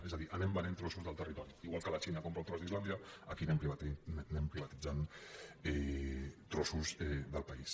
és a dir anem venent trossos del territori igual que la xina compra un tros d’islàndia aquí anem privatitzant trossos del país